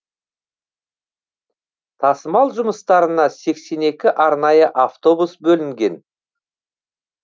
тасымал жұмыстарына сексен екі арнайы автобус бөлінген